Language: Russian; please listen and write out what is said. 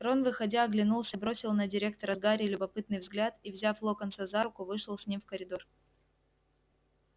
рон выходя оглянулся бросил на директора с гарри любопытный взгляд и взяв локонса за руку вышел с ним в коридор